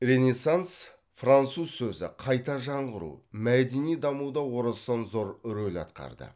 ренессанс француз сөзі қайта жаңғыру мәдени дамуда орасан зор роль атқарды